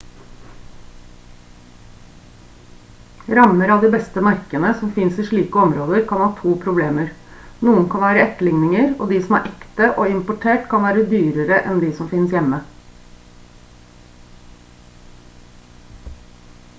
rammer av de beste merkene som finnes i slike områder kan ha to problemer noen kan være etterligninger og de som er ekte og importert kan være dyrere enn de som finnes hjemme